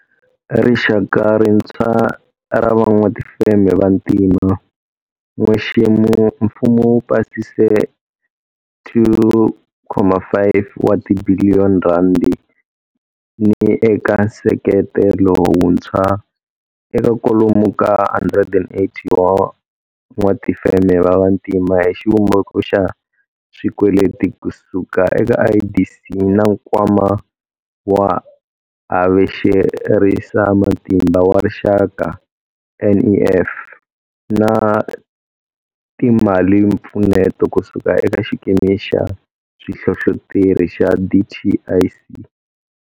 Rixaka rintshwa ra van'watifeme vantima, n'wexemu mfumo wu pasise R2.5 wa tibiliyo ni eka nseketelo wuntshwa eka kwalomu ka 180 wa van'watifeme va vantima hi xivumbeko xa swikweleti kusuka eka IDC na Nkwama wa Havexerisamatimba wa Rixaka, NEF, na timalimpfuneto kusuka eka xikimi xa swihlohloteri xa DTIC.